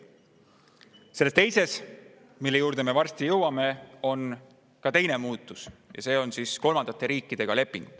Selles teises, mille juurde me varsti jõuame, on ka teine muudatus, nimelt lepingud kolmandate riikidega.